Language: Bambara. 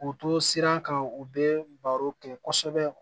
K'u to siran kan u bɛ baro kɛ kosɛbɛ